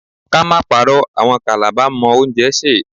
Let's not lie, Calabar people can cook.